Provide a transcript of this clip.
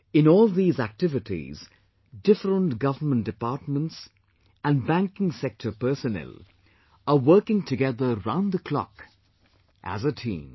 In all these activities, different government departments and banking sector personnel are working together round the clock as a team